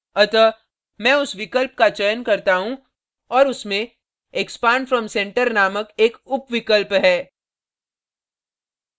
अतः मैं उस विकल्प का चयन करता हूँ और उसमें expand from centre नामक एक उपविकल्प है